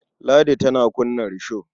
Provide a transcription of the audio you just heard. Ladi tana kunna risho.